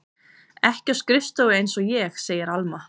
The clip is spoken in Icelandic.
Ekki á skrifstofu einsog ég, segir Alma.